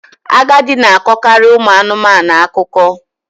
Agadi na-akọkarị ụmụ anụmanụ akụkọ